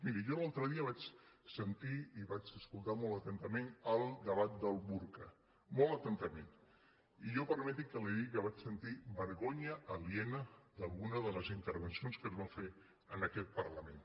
miri jo l’altre dia vaig sentir i vaig escoltar molt atentament el debat del burca molt atentament i jo permeti que li digui que vaig sentir vergonya aliena d’alguna de les intervencions que es van fer en aquest parlament